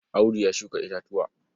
Audu ya shuka itatuwa.